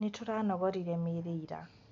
Nĩtũranogorire mĩrĩ ira